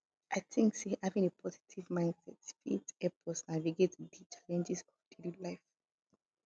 i think say having a positive mindset fit help us navigate di challenges of daily life